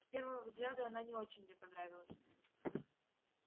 с первого взгляда она не очень мне понравилась